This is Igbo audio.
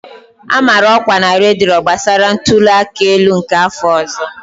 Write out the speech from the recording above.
A mara ọkwa na redio gbasara ntuli aka elu nke afọ ọzọ.